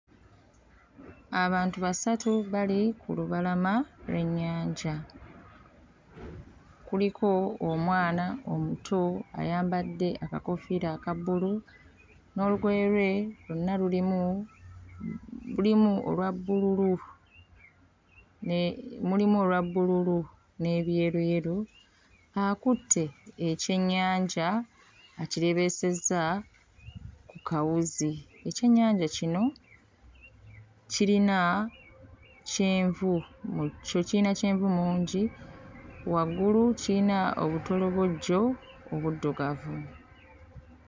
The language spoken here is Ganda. Abantu basatu bali ku lubalama lw'ennyanja. Kuliko omwana omuto ayambadde akakoofiira aka bbulu n'olugoye lwe lwonna lulimu lulimu olwa bbululu ne... mulimu olwa bbululu n'ebyeruyeru. Akutte ekyennyanja akireebeesezza ku kawuzi. Ekyennyanja kino kirina kyenvu mu kyo kiyina kyenvu mungi, waggulu kiyina obutolobojjo obuddugavu.